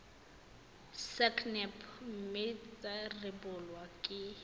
sacnap mme tsa rebolwa ke